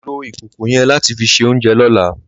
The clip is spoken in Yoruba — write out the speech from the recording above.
Ló ikókó yen làtí fi sé óunjè lòlá